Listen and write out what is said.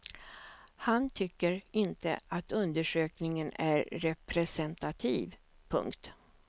Han tycker inte att undersökningen är representativ. punkt